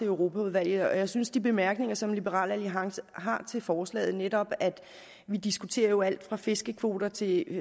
europaudvalget og jeg synes de bemærkninger som liberal alliance har til forslaget netop at vi jo diskuterer alt fra fiskekvoter til